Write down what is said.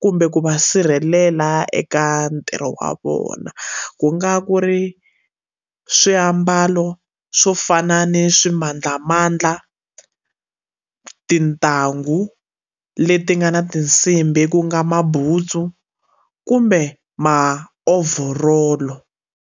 kumbe ku va sirhelela eka ntirho wa vona ku nga ku ri swiambalo swo fana ni swimandlamandla tintangu leti nga na tinsimbhi ku nga mabutsu kumbe maovhorolo.